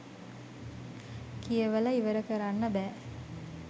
කියවල ඉවර කරන්න බෑ